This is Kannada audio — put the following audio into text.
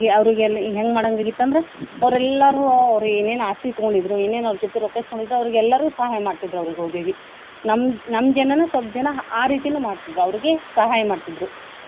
ಅವ್ರಿಗೆ ಎಲ್ಲ ಹೆಂಗ ಮಾಡೊವಂಗ ಆಗಿತ್ತ ಅಂದ್ರ ಅವ್ರೆಲ್ಲಾರು ಅವ್ರ ಏನೇನ ಆಸ್ತಿ ತುಗೊಂಡಿದ್ರು, ಏನೇನ ಅವ್ರ ಜೋತಿ ರೊಕ್ಕಾ ಇಸ್ಕೊಂಡಿದ್ರು ಅವ್ರಿಗ ಎಲ್ಲಾರು ಸಹಾಯ ಮಾಡ್ತಿದ್ರ ಅವ್ರಿಗೆ ಹೋಗೋಗಿ ನಮ್ ನಮ್ ನಮ್ಮ ಜನಾನು ಸ್ವಲ್ಪ ಜನಾ ಆ ರೀತಿನು ಮಾಡ್ತಿದ್ರ ಅವ್ರಿಗ ಸಹಾಯ ಮಾಡ್ತಿದ್ರು.